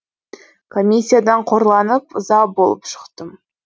комиссиядан қорланып ыза болып шықтым